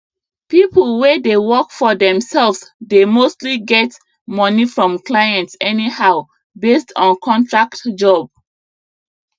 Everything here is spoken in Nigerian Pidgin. people wey dey work for themselves dey mostly get money from clients anyhow based on contract jobs